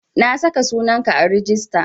Na saka sunan ka a rijista